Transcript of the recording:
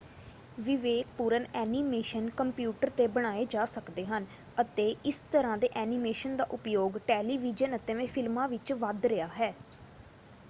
ਵਿਵੇਕਪੂਰਨ animation computer 'ਤੇ ਬਣਾਏ ਜਾ ਸਕਦੇ ਹਨ ਅਤੇ ਇਸ ਤਰ੍ਹਾਂ ਦੇ ਐਨੀਮੇਸ਼ਨ ਦਾ ਉਪਯੋਗ ਟੈਲੀਵੀਜ਼ਨ ਅਤੇ ਫਿਲਮਾਂ ਵਿੱਚ ਵੱਧ ਰਿਹਾ ਹੈ।